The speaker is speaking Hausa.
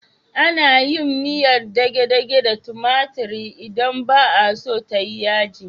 Ana yin miyar dage-dage da tumatiri idan ba a so ta yi yaji.